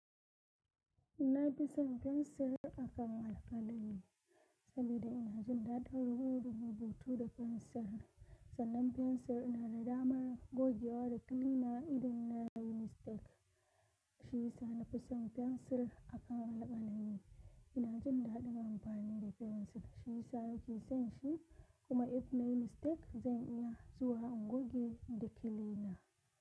Na fi son fensir akan alkalami, sabida ina jin daɗin rubutu da fensir. Sannan fensir ina da damar gogewa da kilina idan na yi mistake. Shi yasa na fi son fensir akan alkalami. Ina jin daɗin amfani da fensir, shi yasa nake son shi. Kuma idan na yi mistake, zan iya zuwa in goge da kilina.